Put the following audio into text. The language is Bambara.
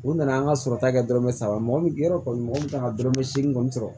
U nana an ka sɔrɔta kɛ dɔrɔmɛ saba mɔgɔ min yɔrɔ kɔni mɔgɔ min taara dɔrɔmɛ seegin kɔni sɔrɔ